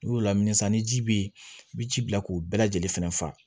N'i y'o lamini san ni ji bɛ yen i bɛ ji bila k'o bɛɛ lajɛlen fɛnɛ fa